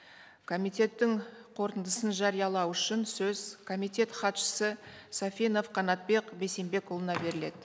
комитеттің қорытындысын жариялау үшін сөз комитет хатшысы сафинов қанатбек бейсенбекұлына беріледі